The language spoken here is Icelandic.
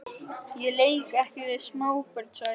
Ég leik ekki við smábörn sagði